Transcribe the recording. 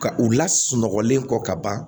Ka u la sunɔgɔlen kɔ ka ban